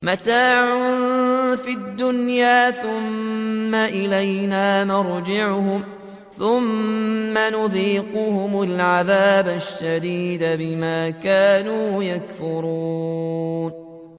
مَتَاعٌ فِي الدُّنْيَا ثُمَّ إِلَيْنَا مَرْجِعُهُمْ ثُمَّ نُذِيقُهُمُ الْعَذَابَ الشَّدِيدَ بِمَا كَانُوا يَكْفُرُونَ